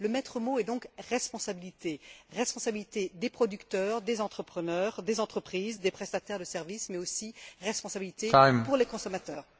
Le maître mot est donc responsabilité responsabilité des producteurs, des entrepreneurs, des entreprises, des prestataires de services, mais aussi responsabilité pour les consommateurs.